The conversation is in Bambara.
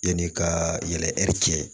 Yanni ka yɛlɛ hɛri cɛ